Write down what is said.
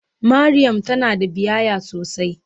Mariam tana da biyayya sosai.